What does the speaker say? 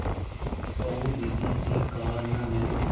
कहो दीदी ठीक कहा न मैंने